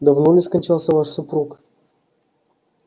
давно ли скончался ваш супруг